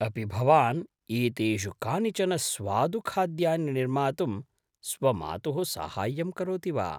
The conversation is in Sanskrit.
अपि भवान् एतेषु कानिचन स्वादुखाद्यानि निर्मातुं स्वमातुः साहाय्यं करोति वा?